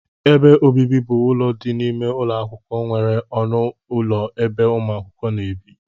Ebe ọbibi bụ ụlọ dị n' ime ụlọakwụkwọ nwere ọnụ ụlọ ebe umuakwukwo na-ebi.